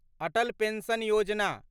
Atal pension Yojana